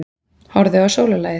Horfðu á sólarlagið.